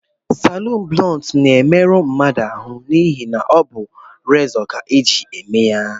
Stailu blunt na-emeru mmadụ ahụ, n’ihi na ọ bụ rezọ ka e ji eme ya